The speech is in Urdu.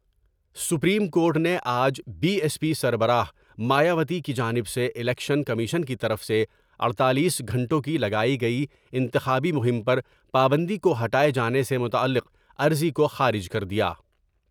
سپریم کورٹ نے آج بی ایس پی سربراہ مایاوتی کی جانب سے الیکشن کمیشن کی طرف سے اڈتالیس گھنٹوں کی لگائی گئی انتخابی مہم پر پابندی کو ہٹاۓ جانے سے متعلق عرضی کو خارج کر دیا ۔